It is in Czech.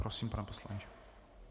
Prosím, pane poslanče.